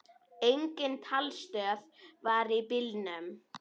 Engin talstöð var í bílnum.